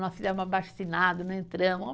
Nós fizemos um abaixo-assinado, não entramos.